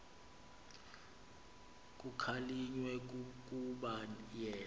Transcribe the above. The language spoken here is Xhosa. kukhalinywe kukuba yena